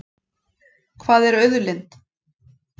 Hvað er auðlind?